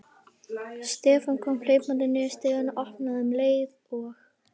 Stefán kom hlaupandi niður stigann og opnaði um leið og